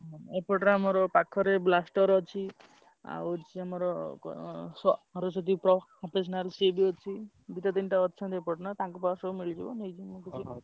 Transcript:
ହଁ ଏପଟରେ ଆମର ପାଖରେ Blaster ଅଛି। ଆଉ ଅଛି ଆମର କଣ ସରସ୍ବତୀ ସିଏ ବି ଅଛି। ଦିଟା ତିନିଟା ଅଛନ୍ତି ଏପଟେ ନା ତାଙ୍କ ପାଖରେ ସବୁ ମିଳିଯିବ ନେଇଯିବି ମୁଁ ।